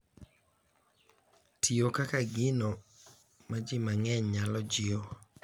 Tiyo kaka gino ma ji mang’eny nyalo jiwo.